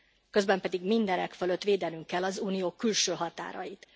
Közben pedig mindenek fölött védenünk kell az Unió külső határait.